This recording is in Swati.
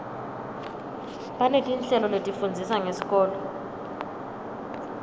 banetinhlelo letifundzisa ngesikolo